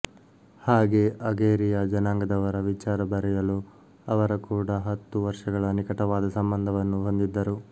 ಹಾಗೆ ಅಗೇರಿಯ ಜನಾಂಗದವರ ವಿಚಾರ ಬರೆಯಲು ಅವರ ಕೂಡ ಹತ್ತು ವರ್ಷಗಳ ನಿಕಟವಾದ ಸಂಬಂಧವನ್ನು ಹೊಂದಿದ್ದರು